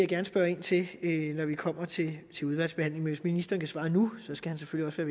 gerne spørge ind til når vi kommer til udvalgsbehandlingen men hvis ministeren kan svare nu skal han selvfølgelig